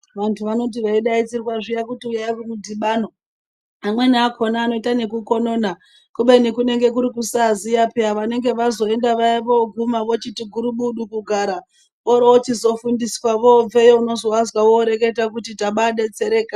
Vantu vanoti veidaidzirwa zviya kuti uyai kumudhibano amweni akona anoita neku konona kubeni kunenge kune kuri kusaziya peya vanenge vazoenda vaya voguma vochiti gurubudu kugara vorochizofundiswa vobveyo unozovazwa voreketa kuti taba betsereka.